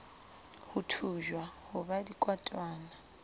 ho thujwa ho ba dikotwana